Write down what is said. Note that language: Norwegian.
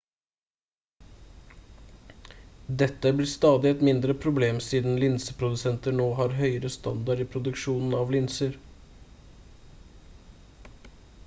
dette blir stadig et mindre problem siden linseprodusenter nå har høyere standard i produksjonen av linser